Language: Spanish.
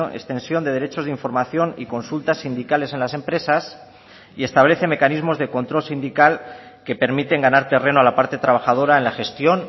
extensión de derechos de información y consultas sindicales en las empresas y establece mecanismos de control sindical que permiten ganar terreno a la parte trabajadora en la gestión